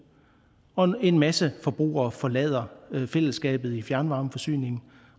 og en masse forbrugere forlader fællesskabet i fjernvarmeforsyningen